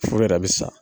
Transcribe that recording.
Foro yɛrɛ bɛ sa